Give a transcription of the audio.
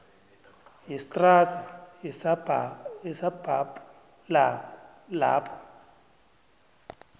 yestrada yesabhabhu lapho